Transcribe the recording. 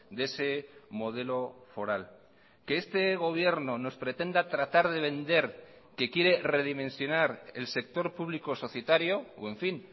de ese modelo foral que este gobierno nos pretenda tratar de vender que quiere redimensionar el sector público societario o en fin